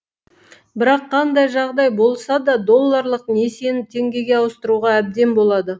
бірақ қандай жағдай болса да долларлық несиені теңгеге ауыстыруға әбден болады